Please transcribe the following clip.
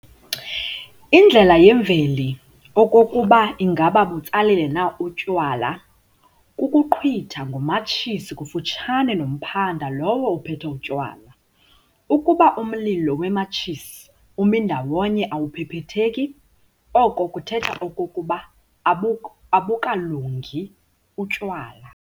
Indlela yemveli okokuba ingaba butsalile na obu tywala, kukuqhwitha ngomatshisi kufutshane nomphanda lowo uphethe utywala. Ukuba umlilo wematshisi umi ndawonye awuphephetheki, oko kuthetha okokuba abukalungi utywala.